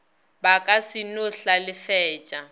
ba ka se no hlalefetša